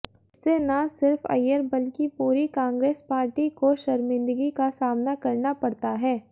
इससे ना सिर्फ़ अय्यर बल्कि पूरी कांग्रेस पार्टी को शर्मिंदगी का सामना करना पड़ता है